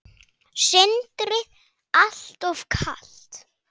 Sindri: Alltof kalt?